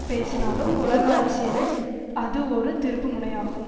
பேசினாலும் உலக அரசியலில் அது ஒரு திருப்பு முனையாகும்